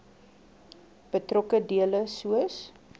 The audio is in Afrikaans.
betrokke dele soos